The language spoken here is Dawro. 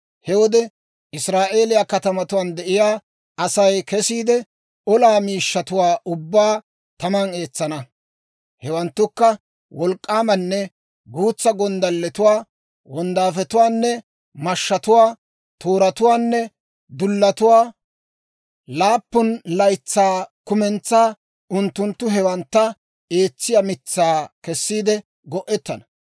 He wode Israa'eeliyaa katamatuwaan de'iyaa Asay kesiide, olaa miishshatuwaa ubbaa taman eetsana; hewanttukka wolk'k'aamanne guutsa gonddalletuwaa, wonddaafetuwaanne mashshatuwaa, tooratuwaanne dullatuwaa. Laappun laytsaa kumentsaa unttunttu hewantta eetsiyaa mitsaa kessiide go'ettana.